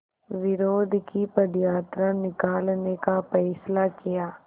विरोध की पदयात्रा निकालने का फ़ैसला किया